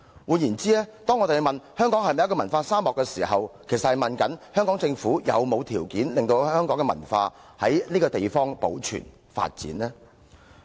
換言之，當提出香港是否文化沙漠的問題時，其實是詢問香港政府有沒有提供條件，讓香港的文化得以在此地保存和發展。